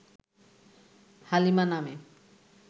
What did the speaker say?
হালিমা নামে